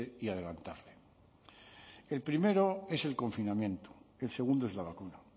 y adelantar el primero es el confinamiento el segundo es la vacuna